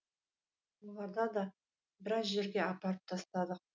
оларды да біраз жерге апарып тастадық